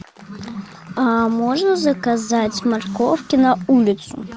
а можно заказать морковки на улицу